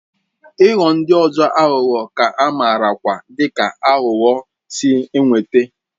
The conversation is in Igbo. Ịghọ ndị ọzọ aghụghọ ka amarakwa dị ka aghụghọ si enweta.